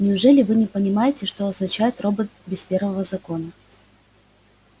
неужели вы не понимаете что означает робот без первого закона